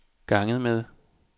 ganget med